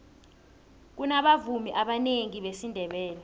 kunabavumi abanengi besindebele